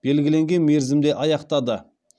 белгіленген мерзімде аяқтады